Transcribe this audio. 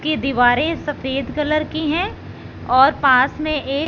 की दीवारें सफेद कलर की हैं और पास में एक--